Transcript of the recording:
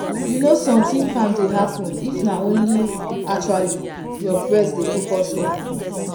you know something calm dey happen if na only actually your breath you dey focus on.